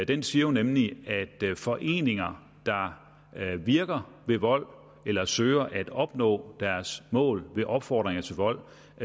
den siger nemlig at foreninger der virker ved vold eller søger at opnå deres mål ved opfordringer til vold